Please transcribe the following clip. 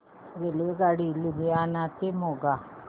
रेल्वेगाडी लुधियाना ते मोगा